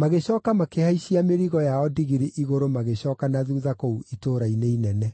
Magĩcooka makĩhaicia mĩrigo yao ndigiri igũrũ magĩcooka na thuutha kũu itũũra-inĩ inene.